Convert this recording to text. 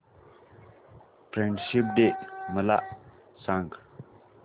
friendship day मला सांग